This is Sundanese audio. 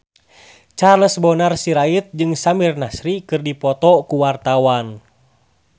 Charles Bonar Sirait jeung Samir Nasri keur dipoto ku wartawan